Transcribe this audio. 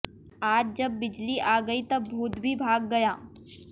आज जब बिजली आ गई तब भूत भी भाग गया